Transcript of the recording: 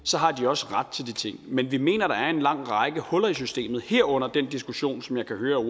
så har de også ret til de ting men vi mener at der er en lang række huller i systemet herunder den diskussion som jeg kan høre at